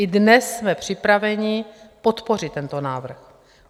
I dnes jsme připraveni podpořit tento návrh.